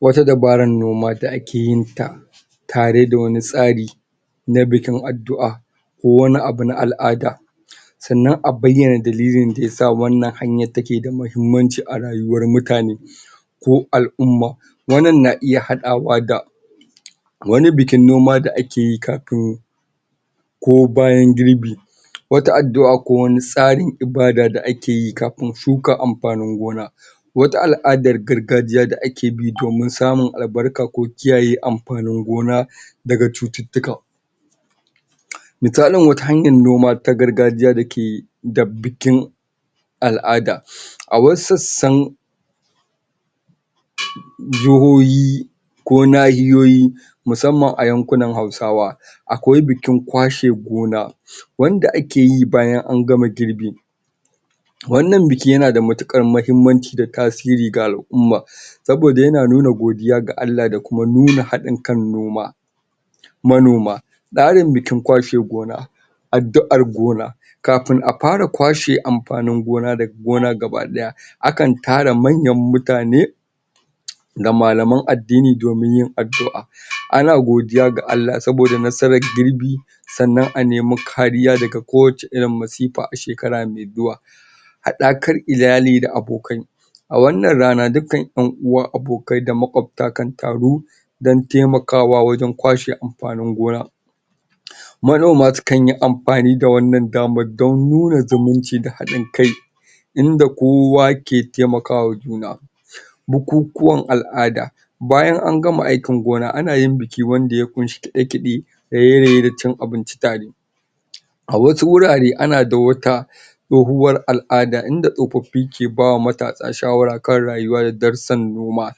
Wata dabarar noma da ake yin ta tare da wani tsari na bikin addu'a ko wani abu na al'ada. Sannan a bayyana dalilin da ya sa wannan hanyar take da muhimmanci a rayuwar mutane. ko al'umma. Wannan na iya haɗawa da wani bikin noma da ake yi kafin ko bayan girbi. Wata addu'a ko wani tsarin ibada da ake yi kafin shuka amfanin gona. Wata al'adar gargajiya da ake bi, domin samun albarka ko kiyaye amfanin gona. daga cututtuka. misali wata hanyar noma ta gargaiya da ke da bikin al'ada. A wasu sassan jahohi ko nahiyoyi musamman a yankunan Hausawa. Akwai bikin kwashe gona, wanda ake yi bayan an gama girbi. Wannan biki yana da matuƙar muhimmanci da tasiri ga al'umma. Saboda yana nuna godiya ga Allah da kuma haɗin kan noma. manoma. Tsarin bikin kwashe gona, addu'ar gona. Kafin a fara kwashe amfanin gona daga gona gaba ɗaya, akan tara manyan mutane, da malaman addini yin addu'a Ana godiya ga Allah saboda nasarar girbi, Sannan a nemi kariya daga kowace irin masifa a shekar mai zuwa. Haɗakar iyali da abokai. A wannan rana dukkan ƴan uwa abokai da maƙwabta kan taru don taimakwa wajen kwashe amfanin gona. Manoma sukan yi amfani da wannan damar don nuna zumunci da haɗin kai inda kowa ke taimaka wa juna. Bukukuwan al'ada. Bayan an gama aikin gona, ana yin biki wanda ya ƙunshi kaɗe-kaɗe da raye-raye da cin abinci tare. A wasu wurare ana da wata, tsohuwar al'ada, inda tsofaffi ke ba wa matasa shawara kan rayuwar darussan noma.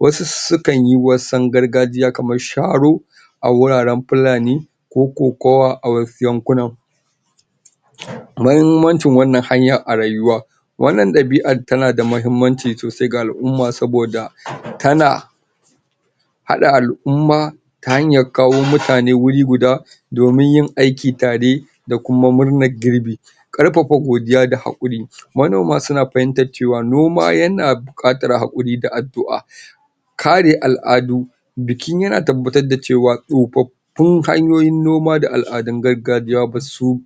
Wasu sukan yi wasan gargajiya kamar sharo, a wuraren fulani, ko kokowa a wasu yanku nan. Muhimmancin wannan hanya a rayuwa. Wannan ɗabi'ar tana da muhimmanci sosai ga al'umma saboda tana haɗa al'umma ta hanyar kawo mutane wuri guda, domin yin aiki tare da kuma murnar girbi. Ƙarfafa godiya da haƙuri. manoma suna fahimtar cewa noma yana ƙaddara haƙuri da addu'a. Kare al'adu. Biki yana tabbatr da cewa tsofaf fun hanyoyin noma da al'adun gargajiya ba su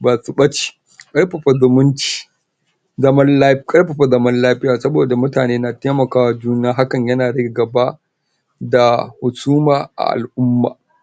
basu ɓace, ƙarfafa zumunci zaman lafiya, ƙarfafa zaman lafiya saboda mutane na taimaka wa juna, hakan yana rage gaba. da husuma a al'umma.